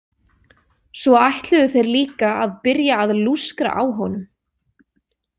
Svo ætluðu þeir líka að byrja að lúskra á honum.